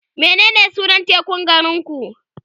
menene sunan tekun garinku?